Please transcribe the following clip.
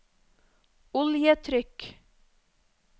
oljetrykk